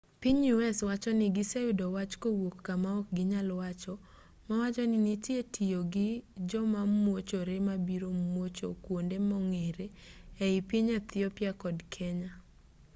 piny u s wacho ni giseyudo wach kowuok kama ok ginyal wacho mawachoni nitie tiyo gi jomamuochore mabiro muocho kuonde mong'ere e i piny ethiopia kod kenya